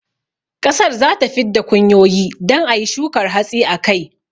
ƙasar zata fid da kunyoyi don ayi shukar hatsi a kai